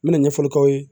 N mɛna ɲɛfɔli k'aw ye